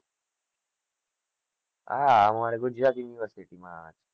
આહ અમારે ગુજરાત university માં આવે